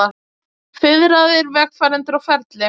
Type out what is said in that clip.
Fiðraðir vegfarendur á ferli